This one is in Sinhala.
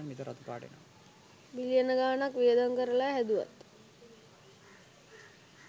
බිලියන ගානක් වියදම් කරලා හැදුවත්